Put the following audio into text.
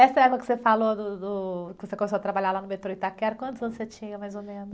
Essa época que você falou do, do, do... Que você começou a trabalhar lá no metrô Itaquera, quantos anos você tinha, mais ou menos?